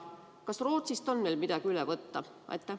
Kas Rootsist on meil midagi üle võtta?